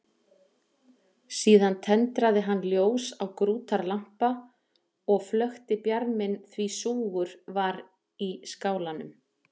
Síðan tendraði hann ljós á grútarlampa og flökti bjarminn því súgur var í skálanum.